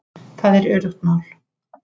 Það er öruggt mál